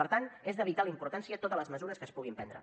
per tant són de vital importància totes les mesures que es puguin prendre